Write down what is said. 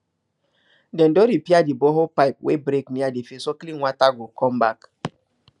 dem don repair the borehole pipe wey break near the field so clean water go come back